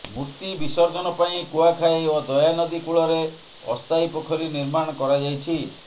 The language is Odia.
ମୂର୍ତ୍ତି ବିସର୍ଜନ ପାଇଁ କୁଆଖାଇ ଓ ଦୟାନଦୀ କୂଳରେ ଅସ୍ଥାୟୀ ପୋଖରୀ ନିର୍ମାଣ କରାଯାଇଛି